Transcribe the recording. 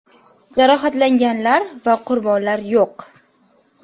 Jarohatlanganlar va qurbonlar yo‘q.